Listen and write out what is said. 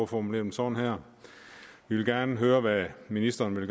formulere dem sådan her vi vil gerne høre hvad ministeren vil